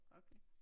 Okay